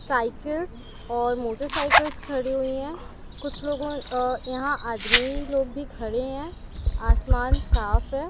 Cycles और motorcycles खड़ी हुई है कुछ लोगों यहाँ आदमी लोग भी खड़े है आसमान साफ है।